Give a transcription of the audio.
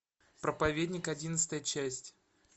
проповедник одиннадцатая часть